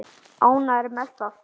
Ánægður með það?